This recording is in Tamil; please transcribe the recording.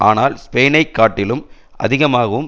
ஆனால் ஸ்பெயினைக் காட்டிலும் அதிகமாகவும்